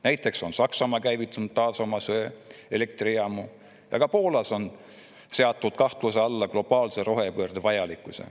Näiteks on Saksamaa käivitanud taas söeelektrijaamu ja ka Poolas on seatud kahtluse alla globaalse rohepöörde vajalikkus.